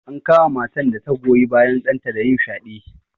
An kama matan da ta goyi bayan ɗanta da yin fyaɗe.